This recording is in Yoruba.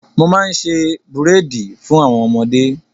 Mo máa ń ṣe búréèdì fún àwọn ọmọdé.